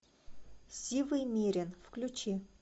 сивый мерин включи